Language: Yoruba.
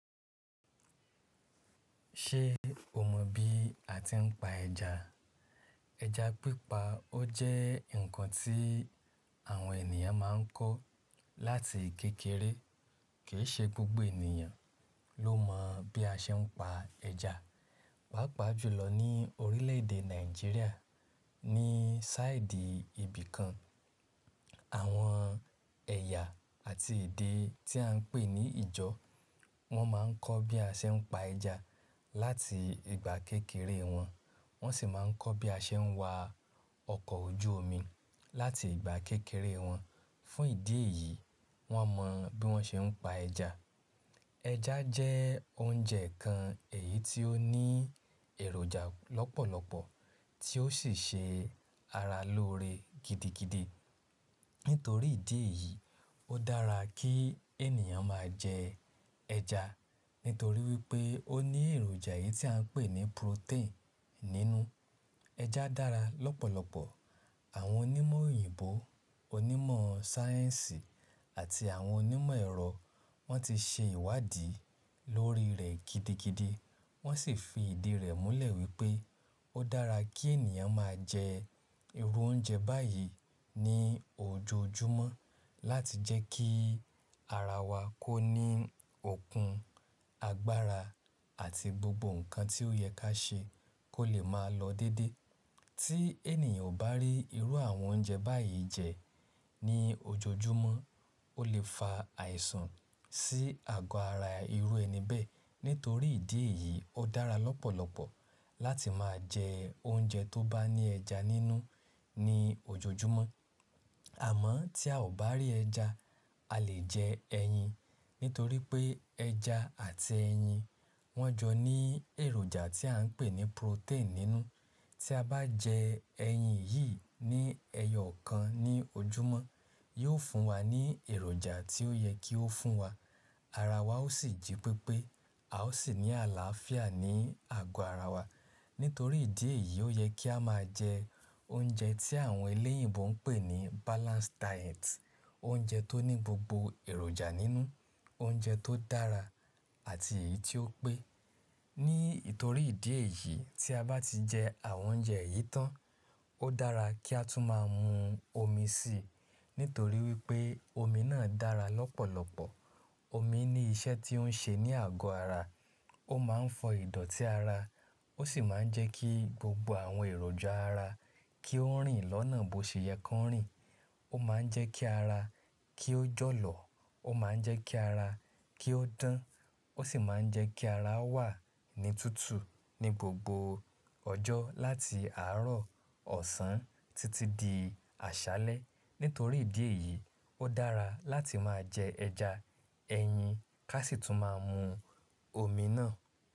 Ṣe o mọ bi a ti n pa ẹja? Ẹja pípa o jẹ nkan ti àwọn ènìyàn ma n kọ láti kékeré. Kìí ṣe gbogbo ènìyàn ló mọ bi a ṣe n pa ẹja. Pápa jùlọ ni orílẹ̀-èdè Nàìjíríà ni sáìdì ibìkan. Àwọn ẹ̀yà àti èdè tí a n pè ní ìjọ wón ma n kọ bi a ṣe n pa ẹja láti ìgbà kékeré wọn. Wọ́n sì máa ń kọ bi a ṣe ń wa ọkọ̀ ojú omi láti ìgbà kékeré wọn. Fún ìdí èyí, wọ́n mọ bí wọ́n ṣe ń pa ẹja. Ẹja jẹ́ oúnjẹ kan èyí tí ó ní èròjà lọ́pọ̀lọpọ̀ tí ó sì ṣe ara lóore gidigidi. Nítorí ìdí èyí, ó dára kí ènìyàn máa jẹ ẹja. Nítorí wípé ó ní èròjà èyí tí à ń pè ní protein nínú. Ẹja dára lọ́pọ̀lọpọ̀. Àwọn onímọ̀ òyìnbó, onímọ̀ sáyẹ́ǹsì àti àwọn onímọ̀ ẹ̀rọ wọ́n ti ṣe ìwádìí lórí rẹ̀ gidigidi. Wọ́n sì fi ìdí rẹ̀ múlẹ̀ wípé ó dára kí ènìyàn máa jẹ irú oúnjẹ báyìí ní ojoojúmọ́ láti jẹ́ kí ara wa kó ní okun, agbára àti gbogbo ǹkan tí ó yẹ ká ṣe kó lè máa lọ dédé. Tí ènìyàn ò bá rí irú àwọn oúnjẹ báyìí jẹ ní ojoojúmọ́, ó lè fa àìsàn sí àgọ́ ara irú ẹni bẹ́ẹ̀. Nítorí ìdí èyí, ó dára lọ́pọ̀lọpọ̀ láti máa jẹ oúnjẹ tó bá ní ẹja nínú ní ojoojúmọ́. Àmọ́ tí a ò bá rí ẹja, a lè jẹ ẹyin. Nítorí pé ẹja àti ẹyin wọ́n jọ ní èròjà tí à ń pè ní protein nínú. Tí a bá jẹ ẹyin yìí ní ẹyọ kan ní ojúmọ́, yóò fún wa ní èròjà tí ó yẹ kí ó fún wa. Ara wa ó sì jí pépé, a ó sì ní àlàáfíà ní àgọ́ ara wa. Nítorí ìdí èyí, ó yẹ kí a máa jẹ oúnjẹ tí àwọn eléyììbó ń pè ní balanced diet. Oúnjẹ tó ní gbogbo èròjà nínú, oúnjẹ tó dára àti èyí tí ó pé. Nítorí ìdí èyí, tí a bá ti jẹ àwọn oúnjẹ yìí tán, ó dára kí a tún máa mu omi sì. Nítorí wípé omi náà dára lọ́pọ̀lọpọ̀. Omi ní iṣẹ́ tí ó ń ṣe ní àgọ́ ara. Ó máa ń fọ ìdọ̀tí ara. Ó sì máa ń jẹ́ kí gbogbo àwọn èròjà ara kí ó rìn lọ́nà bó ṣe yẹ kó rìn. Ó máa ń jẹ́ kí ara kí ó jọ̀lọ̀. Ó máa ń jẹ́ kí ara kí ó dán. Ó sì máa ń jẹ́ kí ara wà ní tútù ní gbogbo ọjọ́ láti àárọ̀, ọ̀sán títí di àṣálẹ́. Nítorí ìdí èyí, ó dára láti máa jẹ ẹja, ẹyin ká sì tún máa mu omi náà.